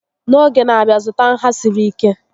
N'oge n'abia, zụta nha siri ike